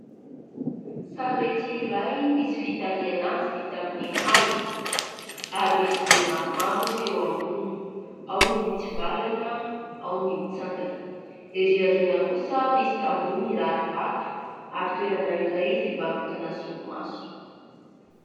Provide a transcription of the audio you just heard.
Sarety iray misy fitarihana azy vita amin'ny hazo ary misy gony maromaro eo amboniny, ao ny mitsivalana, ao ny mitsangana. Erỳ ao aoriana kosa misy tamboho mirary vato ary toerana iray fivarotana solomaso.